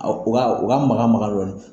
U na makan makan dɔɔni.